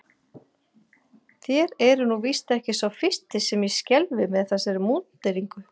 Þér eruð nú víst ekki sá fyrsti sem ég skelfi með þessari múnderingu.